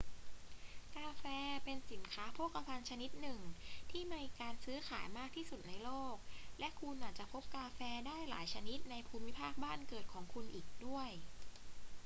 กาแฟเป็นสินค้าโภคภัณฑ์ชนิดหนึ่งที่มีการซื้อขายมากที่สุดในโลก และคุณอาจพบกาแฟได้หลายชนิดในภูมิภาคบ้านเกิดของคุณอีกด้วย